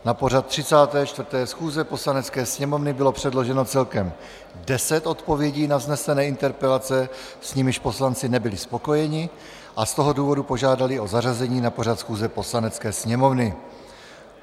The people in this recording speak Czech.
Na pořad 34. schůze Poslanecké sněmovny bylo předloženo celkem 10 odpovědí na vznesené interpelace, s nimiž poslanci nebyli spokojeni, a z toho důvodu požádali o zařazení na pořad schůze Poslanecké sněmovny.